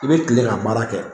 I bɛ kile ka baara kɛ